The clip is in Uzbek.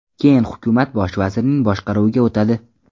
Keyin hukumat bosh vazirning boshqaruviga o‘tadi.